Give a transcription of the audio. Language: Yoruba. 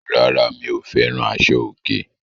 Rárá, mi ò fẹ́ràn àṣọ̀- òkè.